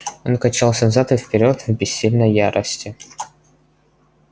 он качался взад и вперёд в бессильной ярости